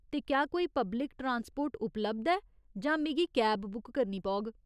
ते क्या कोई पब्लिक ट्रान्सपोर्ट उपलब्ध ऐ जां क्या मिगी कैब बुक करनी पौग?